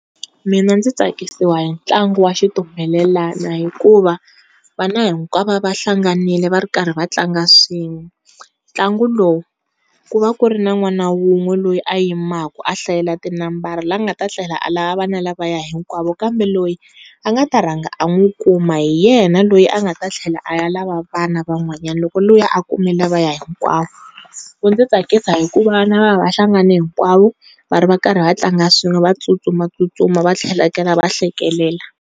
Mina ndzi tsakisiwa hi ntlangu wa xitumbelelana hikuva vana hinkwavo va va hlanganile va ri karhi va tlanga swin'we. Ntlangu lowu ku va ku ri na n'wana wun'we loyi a yimaku a hlayela ti nambara la nga ta tlhela a lava vana lavaya hinkwavo, kambe loyi a nga ta rhanga a n'wi kuma hi yena loyi a nga ta tlhela a ya lava vana van'wanyana loko luya a kume lavaya hikwawo. Wu ndzi tsakisa hikuva va va hlengane hinkwavo va ri va karhi va tlanga swin'we va tsutsumatsutsuma va tlhela va hlekelela.